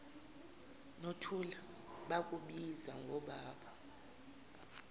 nothula bakubiza ngobaba